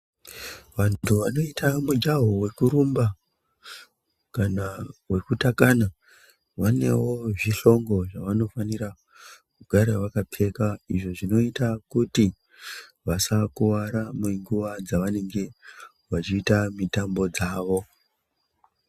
Vantu vanoita mujaho vekurumba kana vekutakana vanevo zvihlongo zvavanofanira kugara vakapfeka. Izvo zvinoita kuti vasakuvara nenguva dzavanenge vechiita mitambo dzavo.